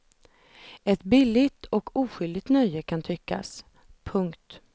Ett billigt och oskyldigt nöje kan tyckas. punkt